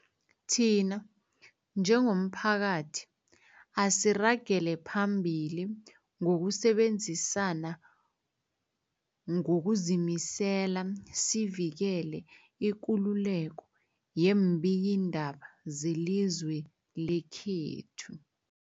Thina njengomphakathi, asiragele phambili ngokusebenzisana ngokuzimisela sivikele ikululeko yeembikiindaba zelizwe lekhethu.